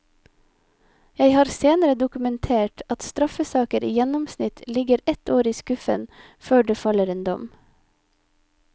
Jeg har senere dokumentert at straffesaker i gjennomsnitt ligger ett år i skuffen før det faller en dom.